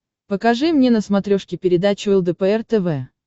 покажи мне на смотрешке передачу лдпр тв